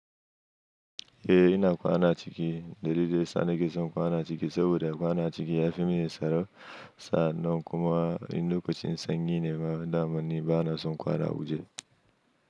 Eh ina kwana ciki, dalilin sa nake son kwana a ciki saboda kwana a ciki ya fi min tsaro, sa'an nan kuma in lokacin sanyi ne ma daman ni ba na son kwana waje.